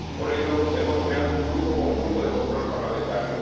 Por ello, hemos creado un grupo conjunto de control parlamentario.